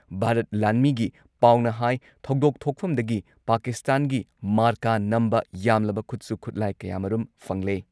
ꯚꯥꯔꯠ ꯂꯥꯟꯃꯤꯒꯤ ꯄꯥꯎꯅ ꯍꯥꯏ ꯊꯧꯗꯣꯛ ꯊꯣꯛꯐꯝꯗꯒꯤ ꯄꯥꯀꯤꯁꯇꯥꯟꯒꯤ ꯃꯥꯔꯀꯥ ꯅꯝꯕ ꯌꯥꯝꯂꯕ ꯈꯨꯠꯁꯨ ꯈꯨꯠꯂꯥꯢ ꯀꯌꯥꯃꯔꯨꯝ ꯐꯪꯂꯦ ꯫